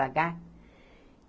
Pagar.